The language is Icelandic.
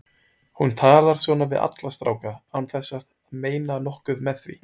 Hún talar svona við alla stráka án þess að meina nokkuð með því.